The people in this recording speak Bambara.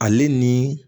Ale ni